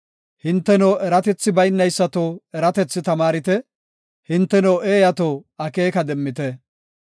Hinteno eratethi baynaysato eratethi tamaarite; hinteno eeyato, akeeka demmite.